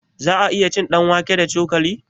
Za'a iya cin ɗanwake da cokali?